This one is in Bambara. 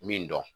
Min dɔn